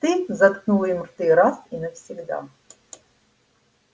ты заткнул им рты раз и навсегда